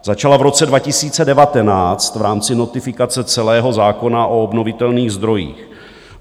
Začala v roce 2019 v rámci notifikace celého zákona o obnovitelných zdrojích.